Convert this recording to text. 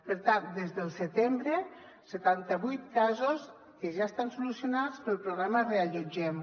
per tant des del setembre setanta vuit casos que ja estan solucionats pel programa reallotgem